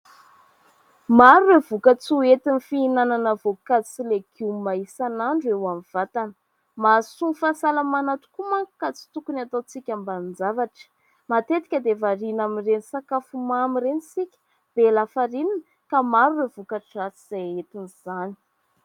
Maro ireo vokatra ho entin'ny fihinanana voankazo sy legioma isan'andro eo amin'ny vatana. Mahasoa ny fahasalamana tokoa manko ka tsy tokony ataontsika ambanin-javatra. Matetika dia variana amin'ireny sakafo mamy ireny isika, be lafarinina ka maro ireo voka-dratsy izay etin' izany.